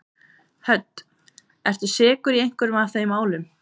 Hödd: Ertu sekur í einhverju af þeim málum?